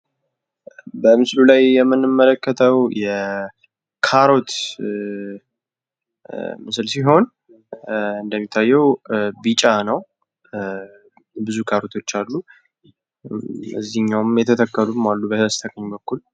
በምስሉ ላይ የምንመለከተው የካሮት ምስል ሲሆን እንደምታዩት ቢጫ ነው። ብዙ ካሮቶች አሉ። እዚኛውም የተተከሉ አሉ ።በስተቀኝ በኩል